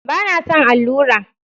Ba na son allura